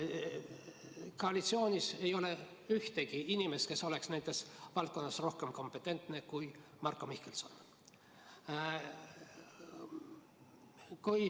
Koalitsioonis ei ole ühtegi inimest, kes oleks nendes valdkondades rohkem kompetentne kui Marko Mihkelson.